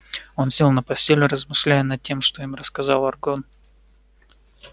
он сел на постель размышляя над тем что им рассказал арагорн